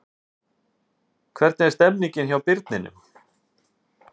Hvernig er stemningin hjá Birninum?